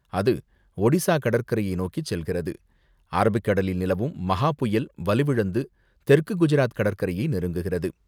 அது ஒடிசா கடற்கரையை நோக்கி செல்கிறது, அரபிக்கடலில் நிலவும் மஹா புயல் வலுவிழந்து, தெற்கு குஜராத் கடற்கரையை நெருங்குகிறது.